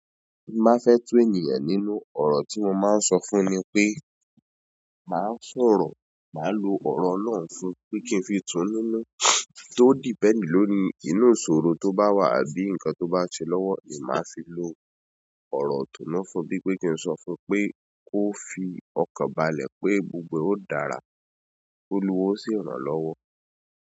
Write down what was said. Bí n bá fẹ́ train ènìyàn nínú ọ̀rọ̀ tí mo máa ń sọ fún un ni pé máa sọ̀rọ̀, màá lo ọ̀rọ̀ Ọlọrun fún un pé kí n fi tú nínú tó depend lórí, inú ìṣòro tó bá wà àbí ǹkan tó bá n ṣe lọ́wọ́ ni màá fi lo ọ̀rọ̀ ìtùnú fún bí pé kí n sọ fún pé kó fi ọkàn balẹ̀ pé gbogbo ó dára, pé Olúwa ó sì ràn lọ́wọ́.